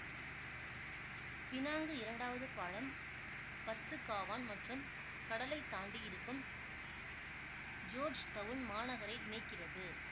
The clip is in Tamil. பினாங்கு இரண்டாவது பாலம் பத்து காவான் மற்றும் கடலைத் தாண்டி இருக்கும் ஜோர்ஜ் டவுன் மாநகரை இணைக்கிறது